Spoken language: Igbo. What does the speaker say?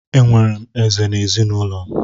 Enwere m Eze na ezinụlọ m.